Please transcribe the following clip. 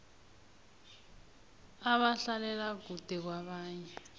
abahlalela kude kwabanye